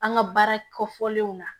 An ka baara kɔ fɔlenw na